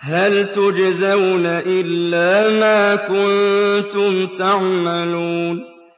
هَلْ تُجْزَوْنَ إِلَّا مَا كُنتُمْ تَعْمَلُونَ